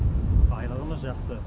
айлығымыз жақсы